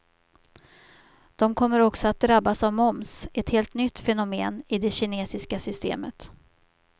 De kommer också att drabbas av moms, ett helt nytt fenomen i det kinesiska systemet.